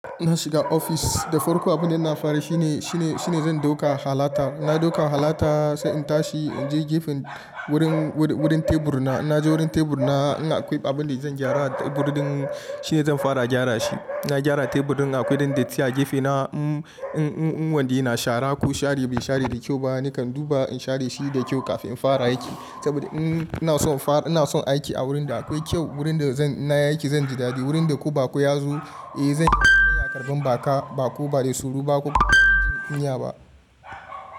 Ina shiga ofis, da farko abin da ina fara yi shine, shine, shine zan dauka halata. Na dauka halata sai in tashi in je gefen wurin, wurin tebur na. Na je wurin tebur na, in akwai abin da zan gyara a tebur din shine zan fara gyara shi. Na gyara tebur din akwai dan datti a gefe na, mm, mm, mm wanda yana shara ko share bai share da kyau ba nakan duba in share shi da kyau kafin in fara aiki. Saboda in, ina son fara, ina son aiki a wurinda akwai kyau, wurin da zan, in nayi aiki zan ji dadi. Wurin da ko bako ya zo, eh zan iya karɓan baka, bako bada tsoro ba ko kuma ba da kunya ba.